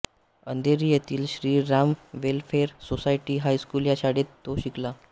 अंधेरी येथील Shri Ram welfare society हायस्लकू या शाळेत तो शिकला